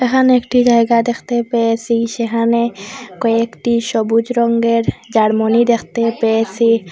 এখানে একটি জায়গা দেখতে পেয়েসি সেখানে কয়েকটি সবুজ রঙ্গের জার্মনি দেখতে পেয়েসি।